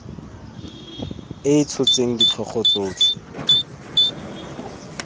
e e tshotseng ditlhogo tsotlhe